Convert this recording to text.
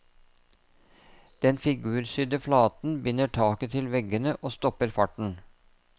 Den figursydde flaten binder taket til veggene og stopper farten.